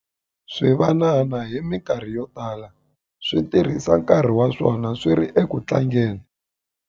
Swivanana hi mikarhi yo tala swi tirhisa nkarhi wa swona swi ri eku tlangeni.